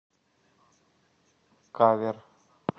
кавер